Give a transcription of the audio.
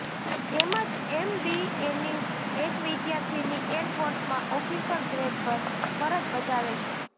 તેમજ એમબીએની એક વિદ્યાર્થિની એરફોર્સમાં ઓફિસર ગ્રેડ પર ફરજ બજાવે છે